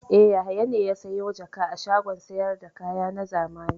E, Yahaya ne ya sayo jaka a shagon sayar da kaya na zamani.